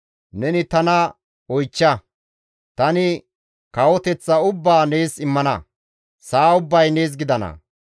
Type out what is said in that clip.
Neni tana oychcha; tani kawoteththa ubbaa nees immana; sa7a ubbay nees gidana.